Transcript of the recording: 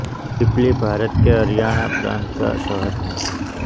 पिपली भारत के हरियाणा प्रान्त का शहर है